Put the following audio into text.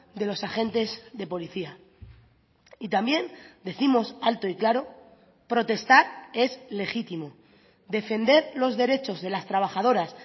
de los agentes de policía y también décimos alto y claro protestar es legítimo defender los derechos de las trabajadoras